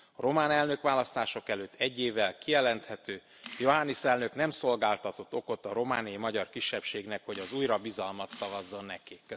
A román elnökválasztások előtt egy évvel kijelenthető, Johannis elnök nem szolgáltatott okot a romániai magyar kisebbségnek, hogy az újra bizalmat szavazzon neki.